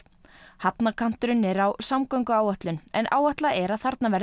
hafnarkanturinn er á samgönguáætlun en áætlað er að þarna verði